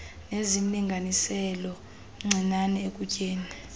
nezimlinganiselo mncinane ekutyeni